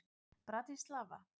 Bratislava